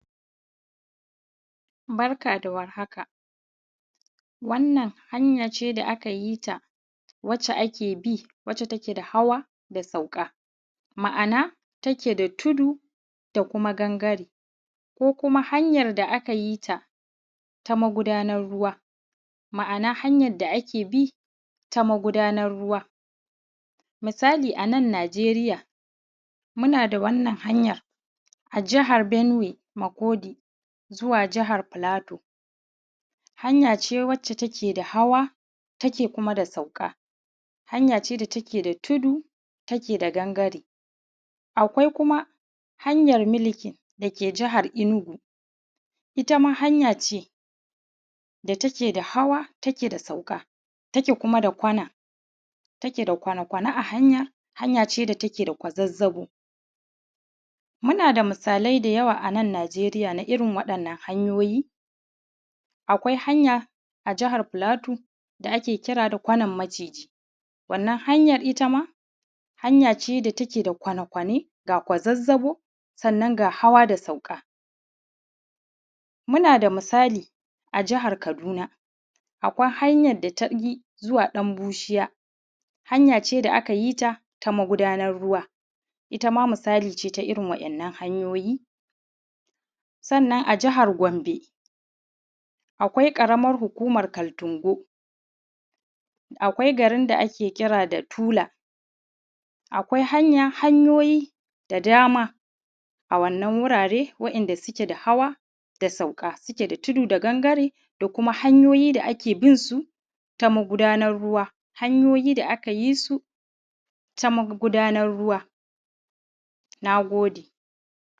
Barka da war haka, wannan hanya ce da aka yita wacce ake bi, wacce take da hawa da sauka. Ma'ana wacce take da tudu da kuma gangare, ko kuma hanyan da aka yi ta ta magudanan ruwa. Ma'ana hanyan da ake bi ta magudanar ruwa. Misali a nan Najeriya muna da wannan hanyan a jihar Benuwe Makodi zuwa jihar fulato. Hanya ce wacce take da hawa take kuma da sauka, hanya ce wanda take da tudu da take da gangare, akwai kuma hanyan miliki dake jihar Enugu itama hanya ce da take da hawa take da sauka take kuma da kwana, take da kwane-kwane a hanya, hanya ce da take da kwazazzaɓo. muna da misalai da yawa a nan Najeriya na irin waɗanan hanyoyi. Akwai hanya a jihar plateau da ake kira da kwanan maciji, wannan hanya ita ma hanya ce da take da kwane kwane ga kuma kwazazzaɓo, sannan ga hawa da sauka. Muna da misali a jihar kaduna, akwai hanyan da tabi zuwa ɗan bushiya, hanya ce da aka yi ta ta magudanan ruwa, itama misali ce ta irin wannan hanyoyi. Sannan a jihar Gwambe akwai ƙaramar hukumar kaltingo, akwai garin da ake kira da tula, akwai hanyoyi da dama a wannan wurare wa’inda suke da hawa da sauka, suke da tudu da gangare da kuma hanyoyi da ake bin su ta magudanar ruwa. Hanyoyi da aka yi su ta magudanar ruwa.